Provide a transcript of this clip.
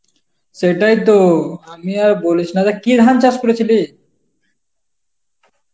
সেটাইতো, আমি আর বলিস না রে, কী ধান চাষ করেছিলি?